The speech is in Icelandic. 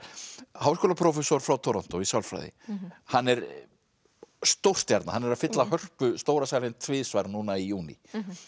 háskólaprófessor frá Toronto í sálfræði hann er hann er að fylla Hörpu stóra salinn tvisvar núna í júní